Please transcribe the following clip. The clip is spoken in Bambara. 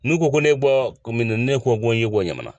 N'u ko ko ne bɔ ne ko ko ne ye bɔ ɲamana